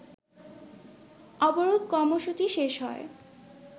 অবরোধ কর্মসূচি শেষ হয়